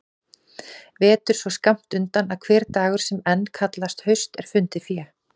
Vetur svo skammt undan að hver dagur sem enn kallast haust er fundið fé.